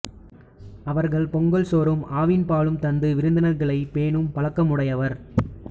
அவர்கள் பொங்கல் சோறும் ஆவின் பாலும் தந்து விருந்தினர்களைப் பேணும் பழக்கமுடையவர்